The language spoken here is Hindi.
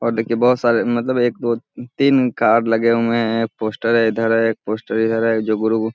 और देखिये बहुत सारे मतलब एक दो तीन कार लगे हुए हैं एक पोस्टर इधर है एक पोस्टर इधर है जो --